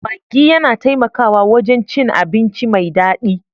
Maggi yana taimakawa wajen cin abinci mai daɗi